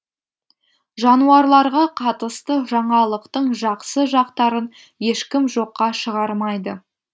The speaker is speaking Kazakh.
жануарларға қатысты жаңалықтың жақсы жақтарын ешкім жоққа шығармайды